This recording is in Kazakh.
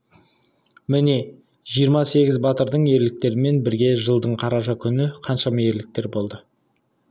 міне жиырма сегіз батырдың ерліктерімен бірте жылдың қараша күні қаншама ерліктер болды